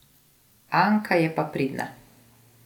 Anka je pa pridna.